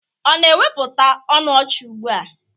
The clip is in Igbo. Ọ na-ewepụta ọnụ ọchị ugbua?